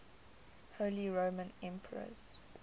holy roman emperors